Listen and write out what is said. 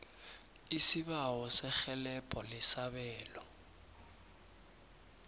isibawo serhelebho lesabelo